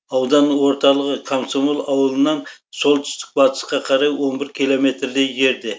аудан орталығы комсомол ауылынан солтүстік батысқа қарай он бір километрдей жерде